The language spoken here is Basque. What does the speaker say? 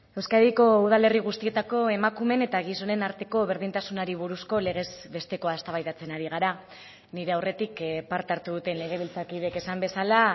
euskadiko udalerri guztietako emakumeen eta gizonen arteko berdintasunari buruzko legez bestekoa eztabaidatzen ari gara nire aurretik parte hartu duten legebiltzarkideek esan bezala